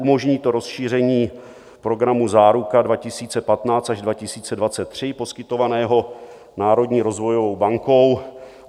Umožní to rozšíření programu Záruka 2015 až 2023 poskytovaného národní rozvojovou bankou.